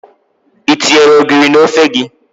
I tinyere ogiri n'ofe gị?